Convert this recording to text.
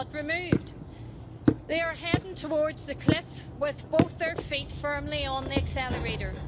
But removed! They are heading towards the cliff with both feet firmly on the accelerator.